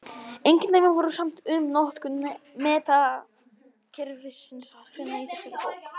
Engin dæmi voru samt um notkun metrakerfisins að finna í þessari bók.